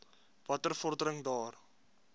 watter vordering daar